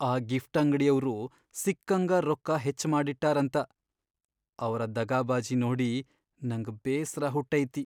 ಆ ಗಿಫ್ಟ್ ಅಂಗ್ಡಿಯವ್ರು ಸಿಕ್ಕಂಗಾ ರೊಕ್ಕ ಹೆಚ್ಚ ಮಾಡಿಟ್ಟಾರಂತ ಅವ್ರ ದಗಾಬಾಜಿ ನೋಡಿ ನಂಗ್ ಬೇಸ್ರ ಹುಟ್ಟೈತಿ.